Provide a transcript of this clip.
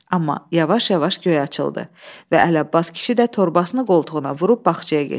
Amma yavaş-yavaş göy açıldı və Ələbbas kişi də torbasını qoltuğuna vurub bağçaya getdi.